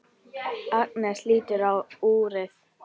Agnes lítur á úrið.